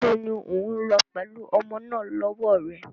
Níbo ni o ń lọ pẹ̀lú ọmọ náà lọ́wọ́ rẹ?